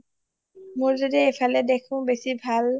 মোৰ যদি এফালে দেখো বেছি ভাল